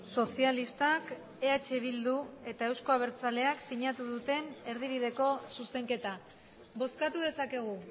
sozialistak eh bildu eta euzko abertzaleak sinatu duten erdibideko zuzenketa bozkatu dezakegu